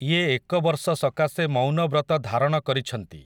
ଇଏ ଏକବର୍ଷ ସକାଶେ ମୌନବ୍ରତ ଧାରଣ କରିଛନ୍ତି ।